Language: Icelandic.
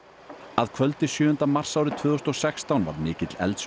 að kvöldi sjöunda mars árið tvö þúsund og sextán varð mikill eldsvoði